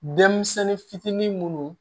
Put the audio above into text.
Denmisɛnnin fitinin munnu